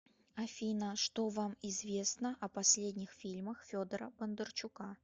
афина что вам известно о последних фильмах федора бондарчука